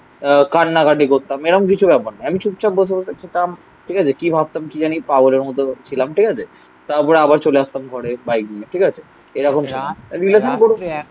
আহ কান্নাকাটি করতাম. এরম কিছু ব্যাপার না. আমি চুপচাপ বসে বসে থাকতাম. ঠিক আছে. কি ভাবতাম কি জানি পাগলের মত ছিলাম. ঠিক আছে. তারপরে আবার চলে আসতাম ঘরে বাইক নিয়ে. ঠিক আছে? এরকম না.